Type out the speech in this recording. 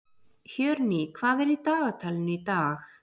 Hjörný, hvað er í dagatalinu í dag?